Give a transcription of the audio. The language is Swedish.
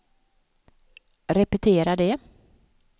repetera det